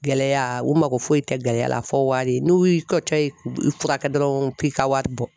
Gɛlɛya u mago foyi tɛ gɛlɛya la fo wari, n'u y'i kɛcɔ i furakɛ dɔrɔn k'i ka wari bɔ.